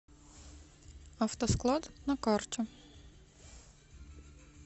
автосклад на карте